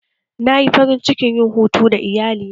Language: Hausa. Na yi farin cikin yin hutu da iyalina